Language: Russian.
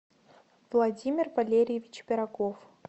владимир валерьевич пирогов